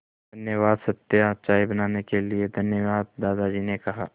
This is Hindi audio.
धन्यवाद सत्या चाय बनाने के लिए धन्यवाद दादाजी ने कहा